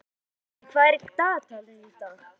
Kittý, hvað er á dagatalinu í dag?